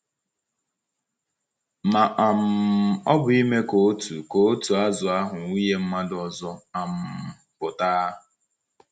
Ma um ọ bụ ime ka otu ka otu azụ ahụ wụnye mmadụ ọzọ um pụta?